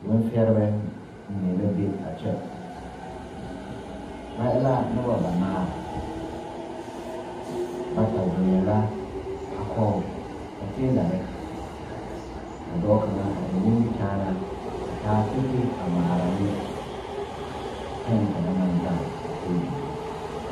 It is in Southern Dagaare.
Bonsɛrebɛ mine la be a kyɛ ba e la noba banaare bata zeŋɛɛ la a kɔge ba teelare ka dɔɔ kaŋa a eŋ nimikyaanaa a taa kpekpe a ŋmaara ne pɛne kaŋa naŋ gaŋ a tabol zu.